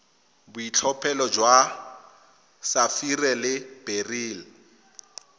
boitlhophelo jwa sapphire le beryl